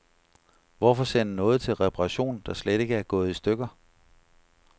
Hvorfor sende noget til reparation, der slet ikke er gået i stykker.